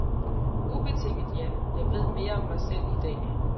Ubetinget ja, jeg ved mere om mig selv i dag.